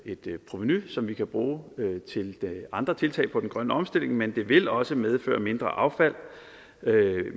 et provenu som vi kan bruge til andre tiltag på den grønne omstilling men det vil også medføre mindre affald